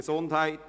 Gesundheit: